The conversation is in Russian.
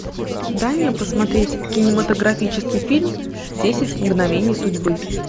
дай мне посмотреть кинематографический фильм десять мгновений судьбы